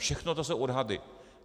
Všechno to jsou odhady.